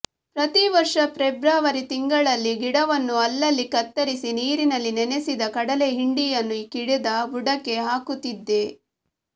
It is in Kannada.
ಪ್ರತಿ ವರ್ಷ ಫೆಬ್ರುವರಿ ತಿಂಗಳಲ್ಲಿ ಗಿಡವನ್ನು ಅಲ್ಲಲ್ಲಿ ಕತ್ತರಿಸಿ ನೀರಿನಲ್ಲಿ ನೆನೆಸಿದ ಕಡಲೆ ಹಿಂಡಿಯನ್ನು ಗಿಡದ ಬುಡಕ್ಕೆ ಹಾಕುತ್ತಿದ್ದೆ